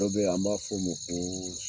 Dɔ be yen, an b'a fɔ ma ko